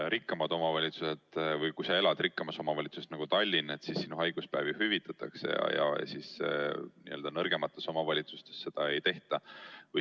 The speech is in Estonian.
Kui sa elad rikkas omavalitsuses nagu Tallinn, siis sinu haiguspäevi hüvitatakse, aga nõrgemates omavalitsustes seda ei tehta.